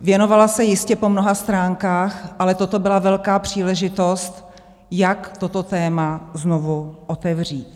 Věnovala se jistě po mnoha stránkách, ale toto byla velká příležitost, jak toto téma znovu otevřít.